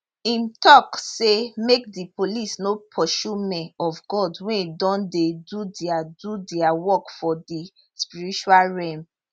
im tok say make di police no pursue men of god wey don dey do dia do dia work for di spiritual realm